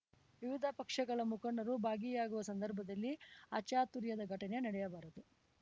ವಿವಿಧ ಪಕ್ಷಗಳ ಮುಖಂಡರು ಭಾಗಿಯಾಗುವ ಸಂದರ್ಭದಲ್ಲಿ ಅಚಾತುರ್ಯದ ಘಟನೆ ನಡೆಯಬಾರದು